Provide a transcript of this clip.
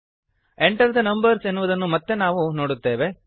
Enter the numbers ಎನ್ನುವುದನ್ನು ಮತ್ತೆ ನಾವು ನೋಡುತ್ತೇವೆ